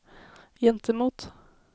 gentemot